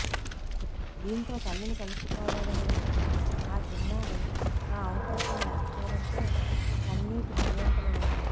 దీంతో తల్లిని కలుసుకోవాలని వచ్చిన ఆ చిన్నారి ఆ అవకాశం లేకపోవడంతో కన్నీటిపర్యంతమయింది